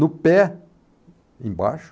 No pé, embaixo...